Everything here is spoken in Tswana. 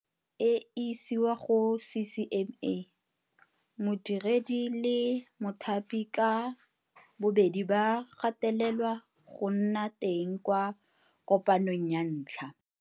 E isiwa go CCMA modiredi le mothapi ka bobedi ba gatelelwa go nna teng kwa kopanong ya ntlha.